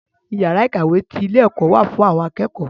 Iyàrá ìkàwé ti ilé ẹ̀kọ́ wà fún àwọn akẹ́kọ̀ọ́.